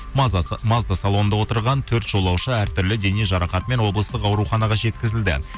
мазда салонында отырған төрт жолаушы әртүрлі дене жарақатымен облыстық ауруханаға жеткізілді